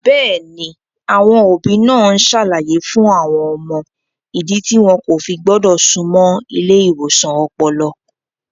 Bẹ́ẹ̀ni, àwọn òbí náà ń ṣàlàyé fún àwọn ọmọ ìdí tí wọn kò fi gbọ́dọ̀ súnmọ́ ilé ìwòsàn ọpọlọ.